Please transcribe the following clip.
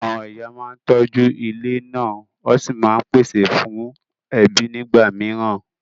Àwọn ìyá máa ń tọ́jú ilé náà wọ́n sì máa ń pèsè fún ẹbí nígbà mìíràn.